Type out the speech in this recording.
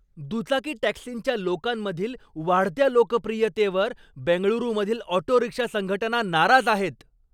दुचाकी टॅक्सींच्या लोकांमधील वाढत्या लोकप्रियतेवर बेंगळुरूमधील ऑटो रिक्षा संघटना नाराज आहेत.